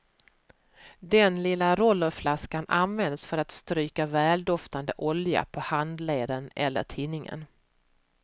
Det lilla rollerflaskan används för att stryka väldoftande olja på handleden eller tinningen.